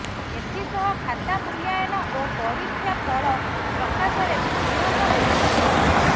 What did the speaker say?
ଏଥିସହ ଖାତା ମୂଲ୍ୟାୟନ ଓ ପରୀକ୍ଷା ଫଳ ପ୍ରକାଶରେ ବି ବିଳମ୍ବ ହୋଇଥିଲା